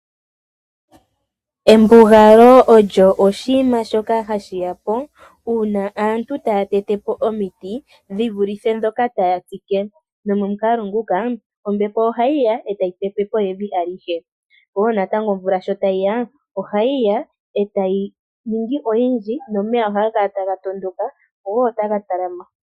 Embugalo olyo oshinima shoka hashi ya po uuna aantu taya tete po omiti dhi vulithe ndhoka taya tsike. Nomomukalo muka ombapo ohayi ya e tayi pepe po evi alihe. Omvula tuu natango sho tayi ya ohayi ya e tayi ningi oyindji nomeya ohaga kala taga tondoka go taga kungulula po evi.